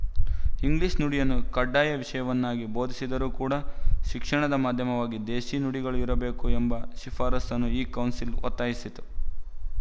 English ನುಡಿಯನ್ನು ಕಡ್ಡಾಯ ವಿಶಯವನ್ನಾಗಿ ಬೋಧಿಸಿದರೂ ಕೂಡ ಶಿಕ್ಷಣದ ಮಾಧ್ಯಮವಾಗಿ ದೇಶೀ ನುಡಿಗಳು ಇರಬೇಕು ಎಂಬ ಶಿಫಾರಸ್ಸನ್ನು ಈ ಕೌನ್ಸಿಲ್ ಒತ್ತಾಯಿಸಿತು